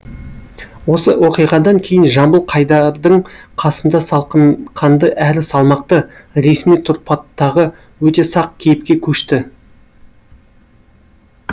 осы оқиғадан кейін жамбыл қайдардың қасында салқынқанды әрі салмақты ресми тұрпаттағы өте сақ кейіпке көшті